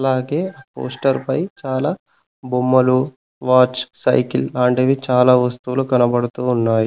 అలాగే పోస్టర్ పై చాలా బొమ్మలు వాచ్ సైకిల్ లాంటివి చాలా వస్తువులు కనబడుతు ఉన్నాయి.